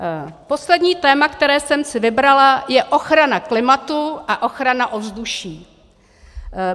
Poslední téma, které jsem si vybrala, je ochrana klimatu a ochrana ovzduší.